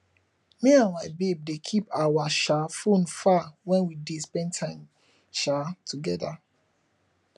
me and my babe dey keep our um fone far wen we dey spend time um togeda